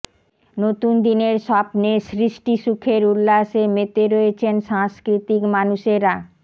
নতুন দিনের স্বপ্নে সৃষ্টিসুখের উল্লাসে মেতে রয়েছেন সাংস্কৃতিক মানুষেরা